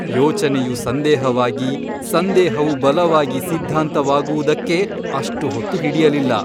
ಯೋಚನೆಯು ಸಂದೇಹವಾಗಿ ಸಂದೇಹವು ಬಲವಾಗಿ ಸಿದ್ಧಾಂತವಾಗುವುದಕ್ಕೆ ಅಷ್ಟು ಹೊತ್ತು ಹಿಡಿಯಲಿಲ್ಲ.